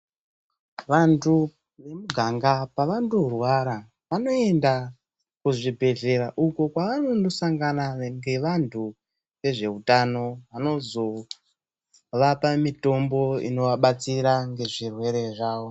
Vantu vemuganga pavandorwara vanoenda kuzvibhledhlera uko kwavanondosangana nevantu vezveutano vanozovapa mitombo inovabatsira ngezvirwere zvawo